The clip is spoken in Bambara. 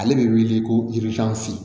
Ale bɛ wili ko